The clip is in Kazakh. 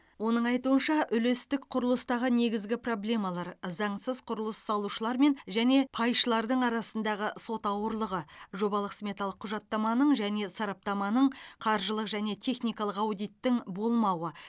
оның айтуынша үлестік құрылыстағы негізгі проблемалар заңсыз құрылыс салушылармен және пайшылардың арасындағы сот ауырлығы жобалық сметалық құжаттаманың және сараптаманың қаржылық және техникалық аудиттің болмауы